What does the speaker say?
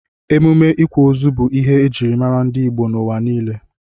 Emume ịkwa ozu bụ ihe ejiri mara ndị Igbo n'ụwa niile.